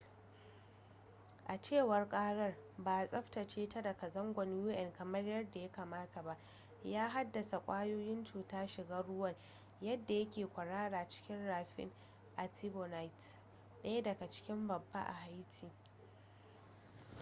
a cewar karar ba a tsaftace bata daga zangon un kamar yadda ya kamata ba ya haddasa kwayoyin cuta shigan ruwa wadda yake kwarara cikin rafin artibonite daya daga ciki babba a haiti